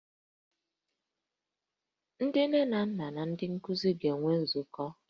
Ndị nne na nna na ndị nkuzi ga-enwe nzukọ